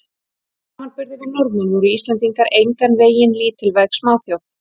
Í samanburði við Norðmenn voru Íslendingar engan veginn lítilvæg smáþjóð.